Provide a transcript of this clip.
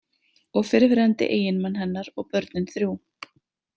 Og fyrrverandi eiginmann hennar og börnin þrjú.